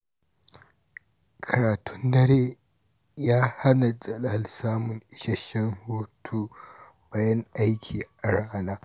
Karatun dare ya hana Jalal samun isasshen hutu bayan aiki a rana.